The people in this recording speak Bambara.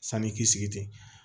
Sani k'i sigi ten